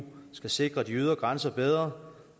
skal sikre de ydre grænser bedre